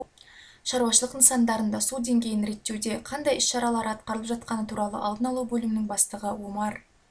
шаруашылық нысандарында су деңгейін реттеуде қандай іс-шаралары атқарылып жатқаны туралы алдын алу бөлімінің бастығы омар